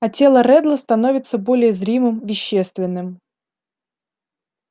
а тело реддла становится более зримым вещественным